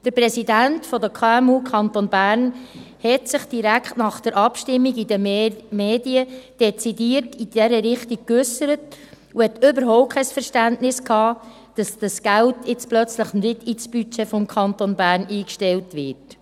Der Präsident der KMU Kanton Bern äusserte sich direkt nach der Abstimmung in den Medien dezidiert in dieser Richtung und hatte überhaupt kein Verständnis, dass das Geld jetzt plötzlich nicht im Budget des Kantons Bern eingestellt wird.